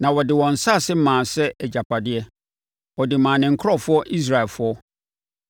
na ɔde wɔn nsase maa sɛ agyapadeɛ; ɔde maa ne nkurɔfoɔ Israelfoɔ.